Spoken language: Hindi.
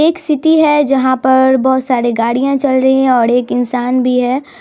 एक सिटी है जहाँ पर बोहोत सारे गड़िया चल रही है ओर एक इंशान भी है।